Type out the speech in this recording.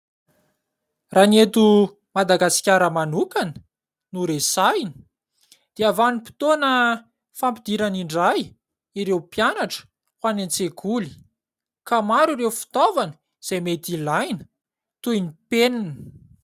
Raha ny eto Madagasikara manokana no resahana dia vanim-potoana fampidirana indray ireo mpianatra ho any an-tsekoly ka maro ireo fitaovana izay mety ilaina toy ny penina.